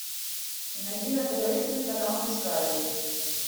найди на тв телеканал дискавери